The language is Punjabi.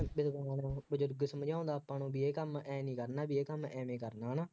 ਫੇਰ ਉੱਠਕੇ ਸਮਝਾਉਂਦਾ ਆਪਾਂ ਨੂੰ ਬਈ ਇਹ ਕੰਮ ਆਂਏਂ ਨਹੀਂ ਕਰਨਾ ਬਈ ਇਹ ਕੰਮ ਐਵੇਂ ਕਰਨਾ ਵਾ,